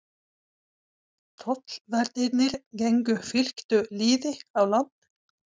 Tollverðirnir gengu fylktu liði á land.